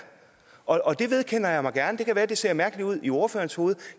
og det vedkender jeg mig gerne det kan være at det ser mærkeligt ud i ordførerens hoved